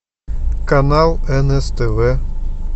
канал нств